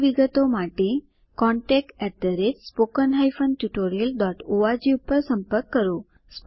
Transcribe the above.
વધુ વિગતો માટે contactspoken tutorialorg પર સંપર્ક કરો